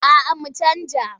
A'a mu canja wasa.